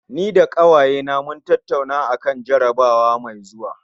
Ni da ƙawayena mun tattaunawa akan jarabawa mai zuwa